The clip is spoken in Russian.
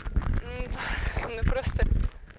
ну просто